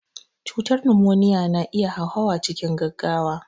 Cutar numoniya na iya hauhawa cikin gaugawa.